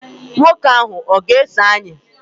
Nwoke ahụ ọ̀ ga-eso anyị?